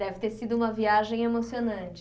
Deve ter sido uma viagem emocionante.